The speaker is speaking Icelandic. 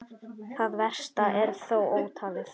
Það versta er þó ótalið.